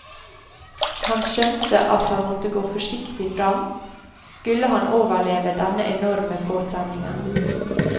Han skjønte at han måtte gå forsiktig fram, skulle han overleve denne enorme påkjenningen.